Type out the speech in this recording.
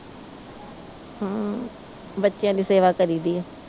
ਹਮ ਬੱਚਿਆਂ ਦੀ ਸੇਵਾ ਕਰੀ ਦੀਆ।